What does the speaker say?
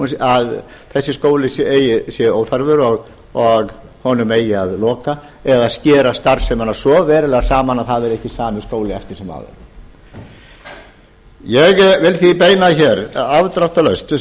að þessi skóli sé óþarfur og honum eigi að loka eða skera starfsemina svo verulega saman að það verði ekki sami skóli eftir sem áður ég vil því beina afdráttarlaust